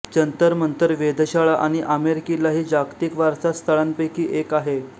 जंतरमंतर वेधशाळा आणि आमेर किल्ला ही जागतिक वारसा स्थळांपैकी एक आहे